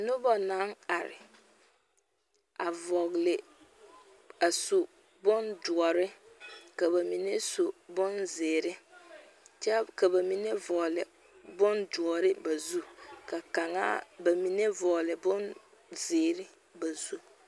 Noba naŋ are a su bondoɔre , ka ba mine su bonzeɛre kyɛ ka ba mine vɔgeli bondoɔre ba zu ka ba mine vɔgeli bonzeɛre ba zu.